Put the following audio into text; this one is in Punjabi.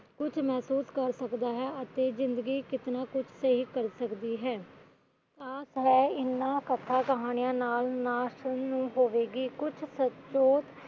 ਕਿਨਾਂ ਕੁਛ ਮਹਿਸੂਸ ਕਰ ਸਕਦਾ ਹੈ ਤੇ ਜਿੰਦਗੀ ਕਿਤਨਾ ਕੁਛ ਸਹੀ ਕਰ ਸਕਦੀ ਹੈ ਆਸ ਹੈ ਇਹਨਾ ਕਥਾ ਕਹਾਣੀਆਂ ਨਾਲ